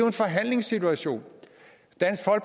en forhandlingssituation